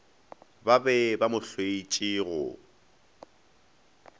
be ba mo hloetše go